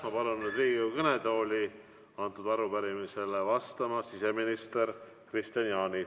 Ma palun nüüd Riigikogu kõnetooli sellele arupärimisele vastama siseminister Kristian Jaani.